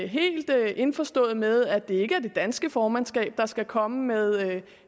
helt indforstået med at det ikke er det danske formandskab der skal komme med